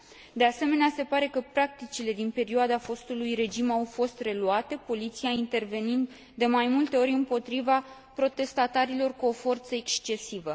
De asemenea, se pare că practicile din perioada fostului regim au fost reluate, poliția intervenind de mai multe ori împotriva protestatarilor, cu o forță excesivă.